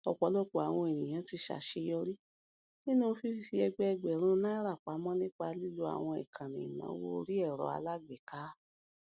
ọpọlọpọ àwọn ènìyàn ti ṣàṣeyọrí nínú fífi ẹgbẹẹgbẹrún náírà pamọ nípa lílo àwọn ìkànnì ìnáwó orí ẹrọ alágbèéká